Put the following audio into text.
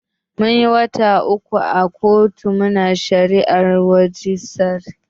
Munyi wata uku muna shari'a a kotun majistare.